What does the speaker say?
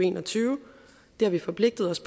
en og tyve det har vi forpligtet os